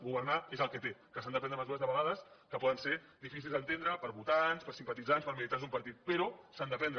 governar és el que té que s’han de prendre mesures de vegades que poden ser difícils d’entendre per votants per simpatitzants per militants d’un partit però s’han de prendre